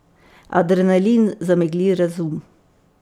Adrenalin zamegli razum.